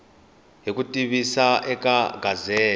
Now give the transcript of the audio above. hi ku tivisa eka gazette